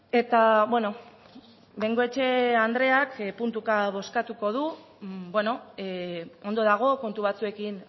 eta bengoechea andreak puntuka bozkatuko du ondo dago kontu batzuekin